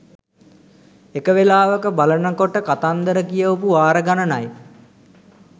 එක වෙලාවක බලන කොට කතන්දර කියවපු වාර ගණනයි